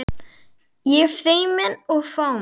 Ég feimin og fámál.